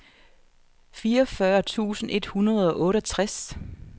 fireogfyrre tusind et hundrede og otteogtres